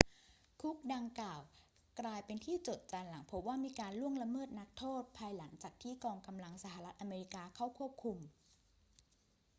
คุกดังกล่าวกลายเป็นที่โจษจันหลังพบว่ามีการล่วงละเมิดนักโทษภายหลังจากที่กองกำลังสหรัฐอเมริกาเข้าควบคุม